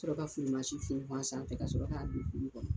Sɔrɔ ka funfun a sanfɛ ka sɔrɔ ka don tulu kɔnɔ.